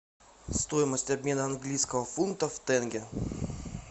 стоимость обмена английского фунта в тенге